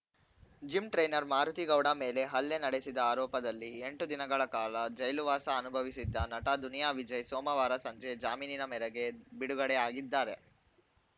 gym trainer Marutigowda ಮೇಲೆ ಹಲ್ಲೆ ನಡೆಸಿದ ಆರೋಪದಲ್ಲಿ ಎಂಟು ದಿನಗಳ ಕಾಲ ಜೈಲುವಾಸ ಅನುಭವಿಸಿದ್ದ ನಟ ದುನಿಯಾ ವಿಜಯ್‌ ಸೋಮವಾರ ಸಂಜೆ ಜಾಮೀನಿನ ಮೇರೆಗೆ ಬಿಡುಗಡೆ ಆಗಿದ್ದಾರೆ